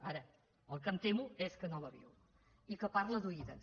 ara el que em temo és que no la viu i que parla d’oïda